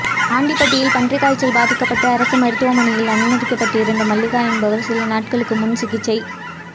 ஆண்டிபட்டியில் பன்றிக் காய்ச்சல் பாதிக்கப்பட்டு அரசு மருத்துவமனையில் அனுமதிக்கப்பட்டிருந்த மல்லிகா என்பவர் சில நாள்களுக்கு முன் சிகிச்சை